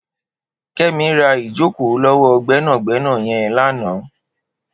Kemi rà ijókó lọwọ gbẹnágbẹná yèn làná